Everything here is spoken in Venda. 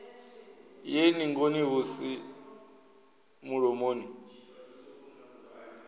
ye ningoni hu si mulomoni